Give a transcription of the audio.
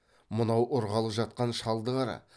мынау ұрғалы жатқан шалды қара